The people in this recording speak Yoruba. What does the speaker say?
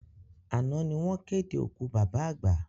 Àná ni wọ́n ké de òkú bàbá àgbà